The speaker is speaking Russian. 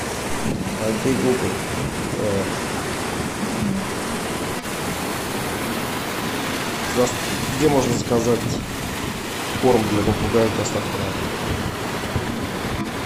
окей гугл где можно заказать корм для попугая с доставкой на дом